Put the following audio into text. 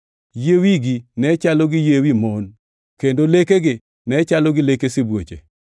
Yie wigi ne chalo gi yie wi mon, kendo lekegi ne chalo gi leke sibuoche.